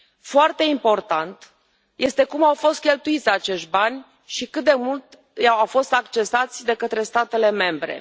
Foarte important este cum au fost cheltuiți acești bani și cât de mult au fost accesați de către statele membre.